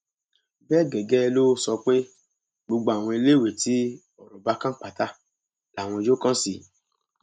bẹẹ gẹgẹ ló sọ pé gbogbo àwọn iléèwé tí ọrọ bá kàn pátá làwọn yóò kàn sí